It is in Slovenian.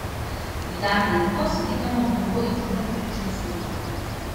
Dodamo mleko, smetano, moko in četrt žličke soli.